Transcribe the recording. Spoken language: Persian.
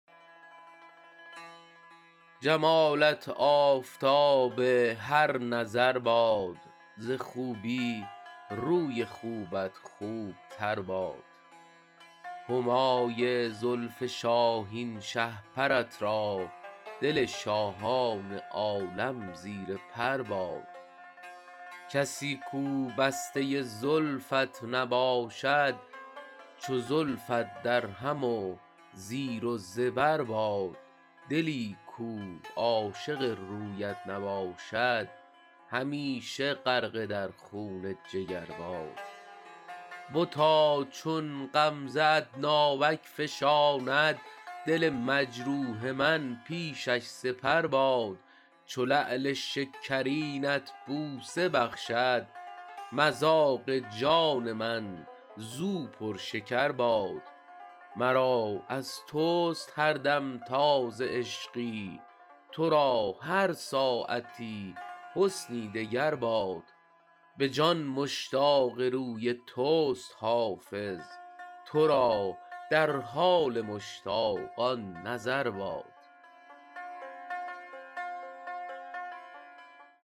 جمالت آفتاب هر نظر باد ز خوبی روی خوبت خوب تر باد همای زلف شاهین شهپرت را دل شاهان عالم زیر پر باد کسی کو بسته زلفت نباشد چو زلفت درهم و زیر و زبر باد دلی کو عاشق رویت نباشد همیشه غرقه در خون جگر باد بتا چون غمزه ات ناوک فشاند دل مجروح من پیشش سپر باد چو لعل شکرینت بوسه بخشد مذاق جان من زو پرشکر باد مرا از توست هر دم تازه عشقی تو را هر ساعتی حسنی دگر باد به جان مشتاق روی توست حافظ تو را در حال مشتاقان نظر باد